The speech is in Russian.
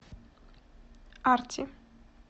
арти